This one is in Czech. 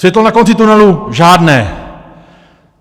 Světlo na konci tunelu žádné!